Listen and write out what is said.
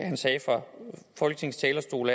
han sagde fra folketingets talerstol